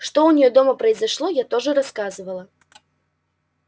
что у него дома произошло я тоже рассказывала